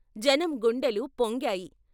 జనం గుండెలు పొంగాయి.